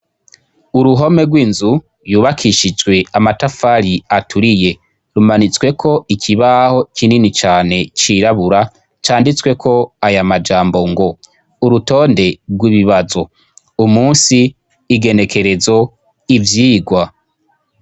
Uruhome rw'inzu yubakishijwe amatafari aturiye rumanitsweko ikibaho kinini cane cirabura canditsweko aya majambo ngo “urutonde rw'ibibazo umusi igenekerezo ivyigwa”.